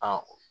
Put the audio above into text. Aa